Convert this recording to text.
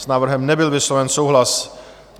S návrhem nebyl vysloven souhlas.